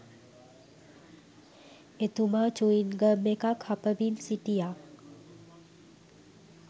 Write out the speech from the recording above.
එතුමා චුයින්ගම් එකක්‌ හපමින් සිටියා